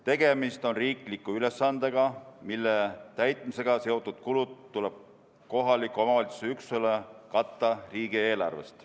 Tegemist on riikliku ülesandega, mille täitmisega seotud kulud tuleb kohaliku omavalitsuse üksusele katta riigieelarvest.